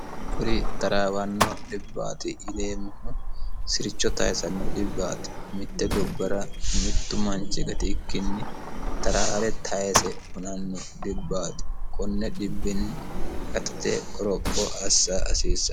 kuri taraawanno dhibbaati yineemmohu siricho tayisanno dhibbaati mitte gobbara mittu manchi gati ikkinni taraare tayise hunanno dhibbaati kone dhibba hatte qoropho assa hasiissanno